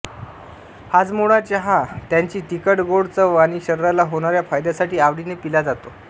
हाजमोळा चहा त्याची तिखटगोड चव आणि शरीराला होणाऱ्या फायद्यासाठी आवडीने पिला जातो